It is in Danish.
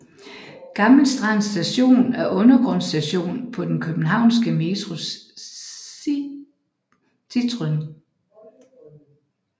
Gammel Strand Station er en undergrundsstation på den københavnske Metros cityring